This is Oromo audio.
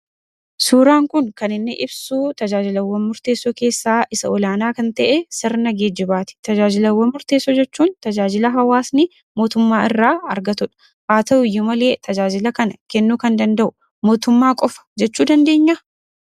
Suuraan kun kan inni ibsuu tajaajilawwan murteessoo keessaa isa olaanaa kan ta'ee sirna geejjibaati. Tajaajilawwan murteessoo jechuun tajaajila hawaasni mootummaa irraa argatudha. Haa ta'uyyuu malee tajaajila kana kennuu kan danda'u mootummaa qofa jechuu dandeenyaa?